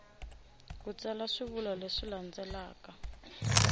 u tsala swivulwa leswi landzelaka